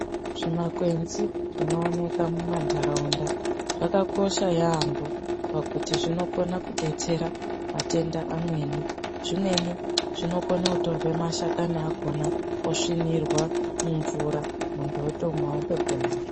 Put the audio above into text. Zvimakwenzi zvinooneka mumanharaunda zvakakosha yaamho pakuti zvinokona kudetsera matenda amweni. Zvimweni zvinokona kutorwa mashakani akhona osvinirwa mumvura muntu wotomwa, otopona.